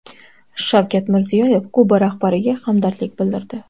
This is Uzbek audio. Shavkat Mirziyoyev Kuba rahbariga hamdardlik bildirdi.